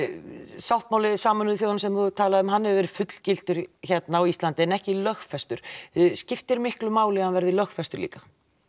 sáttmáli Sameinuðu þjóðanna sem þú hefur talað um hann hefur verið fullgiltur hérna á Íslandi en ekki lögfestur skiptir miklu máli að hann verði lögfestur líka